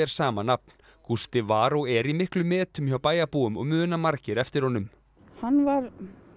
sama nafn Gústi var og er í miklum metum hjá bæjarbúum og muna margir eftir honum hann var